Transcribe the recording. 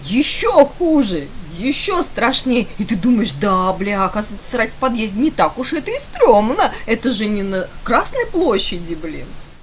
ещё хуже ещё страшнее и ты думаешь да бляха срать в подъезде не так уж это и страшно эта же не на красной площади блин